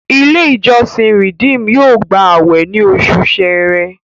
ilé ìjósìn redeem yóò gbà awẹ ní Oṣù Ṣẹ̀rẹ́.